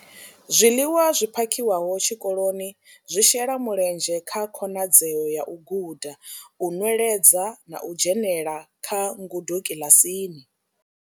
Zwiḽiwa zwi phakhiwaho tshikoloni zwi shela mulenzhe kha khonadzeo ya u guda, u nweledza na u dzhenela kha ngudo kiḽasini.